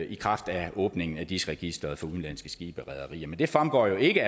i kraft af åbningen af dis registeret for udenlandske skibe og rederier men det fremgår jo ikke